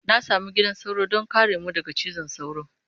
Na sami gidan sauro don kare mu daga cizon sauro.